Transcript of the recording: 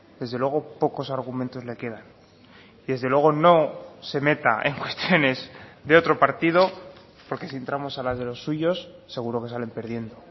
desde luego pocos argumentos le quedan y desde luego no se meta en cuestiones de otro partido porque si entramos a las de los suyos seguro que salen perdiendo